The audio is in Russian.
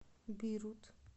бейрут